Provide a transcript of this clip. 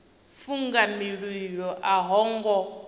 funga mililo a ho ngo